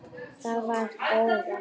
Það var Dóra.